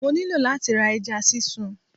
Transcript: Mo nílò láti ra ẹja sísun